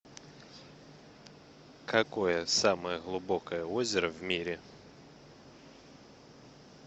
какое самое глубокое озеро в мире